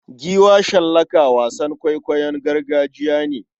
Giwa shallaka wasan kwaikwayon gargajiya ne.